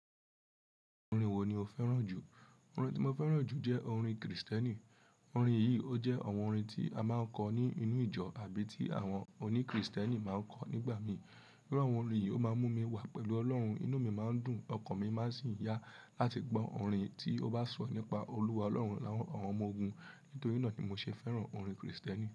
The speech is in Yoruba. Orin wo ni o fẹ́ràn jù? Orin tí mo fẹ́ràn jù jẹ́ orin kìrìsìtẹ́nì. Orin yìí, ó jẹ́ àwọn orin tí a máa ń kọ ní inú ìjọ àbí tí àwọn òní kìrìsìtẹ́nì máa ń kọ nígbà mìíràn. Irú àwọn orin yìí ó máa ń mú mi wà pẹ̀lú Ọlọ́run, inú mi máa ń dùn, ọkàn mi má sì ń yá láti gbọ́ orin tí ó bá sọ nípa olúwa Ọlọ́run àwọn ọmọ ogun. Nítorí náà ni mo ṣe fẹ́ràn orin kìrìsìtẹ́nì.